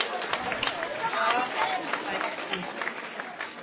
Og það í tæka tíð.